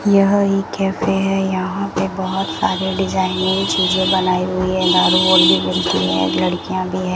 यह एक कैफे है यहां पे बहुत सारे डिजाइनें चीजें बनाई हुई हैं दारू और भी मिलती है लड़कियां भी है।